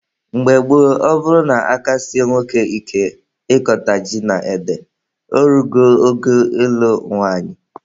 Mgbe gboo, ọ bụrụ na aka sie nwoke ike ịkọta ji na ede, o rugo oge ịlụ nwanyị.